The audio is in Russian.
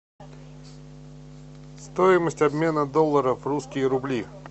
стоимость обмена доллара в русские рубли